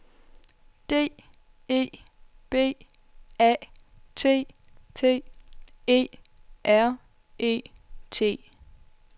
D E B A T T E R E T